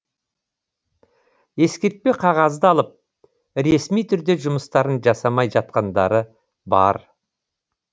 ескертпе қағазды алып ресми түрде жұмыстарын жасамай жатқандары бар